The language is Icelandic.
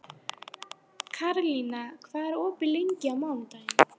Karlína, hvað er opið lengi á mánudaginn?